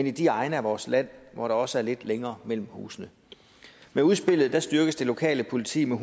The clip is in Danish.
i de egne af vores land hvor der også er lidt længere mellem husene med udspillet styrkes det lokale politi med